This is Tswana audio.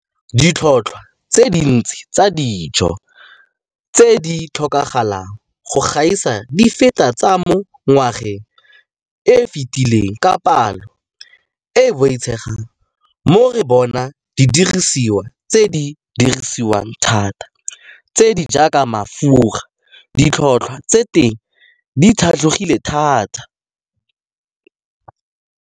Ditlhotlhwa tse dintsi tsa dijo tse di tlhokagalang go gaisa di feta tsa mo ngwageng yo o fetileng ka palo e e boitshegang, mo re bonang didirisiwa tse di dirisiwang thata tse di jaaka mafura ditlhotlhwa tsa teng di tlhatlogileng thata.